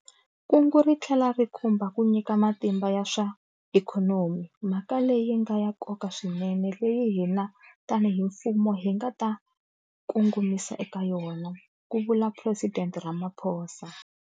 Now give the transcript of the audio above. Kungu ri tlhela ri khumba ku nyika matimba ya swa ikhonomi, mhaka leyi nga ya nkoka swinene leyi hina tanihi mfumo hi nga ta kongomisa eka yona, ku vula Phuresidente Ramaphosa